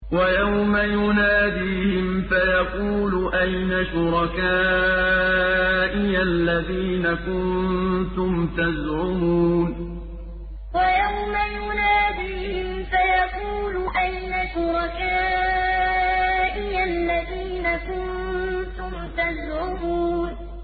وَيَوْمَ يُنَادِيهِمْ فَيَقُولُ أَيْنَ شُرَكَائِيَ الَّذِينَ كُنتُمْ تَزْعُمُونَ وَيَوْمَ يُنَادِيهِمْ فَيَقُولُ أَيْنَ شُرَكَائِيَ الَّذِينَ كُنتُمْ تَزْعُمُونَ